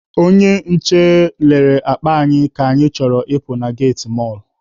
Onye nche nelere akpa anyị ka anyị chọrọ ịpụ na geti mọlụ.